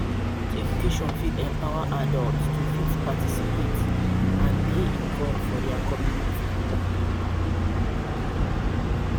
Adult education fit empower adults to fit participate and dey involved for their community